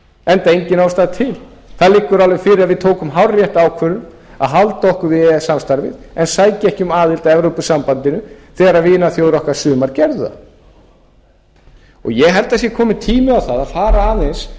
enda engin ástæða til það liggur alveg fyrir að við tókum hárrétta ákvörðun að halda okkur við e e s samstarfið en sækja ekki um aðild að evrópusambandinu þegar vinaþjóðir okkar sumar gerðu það og ég held að það sé kominn tími á það að fara aðeins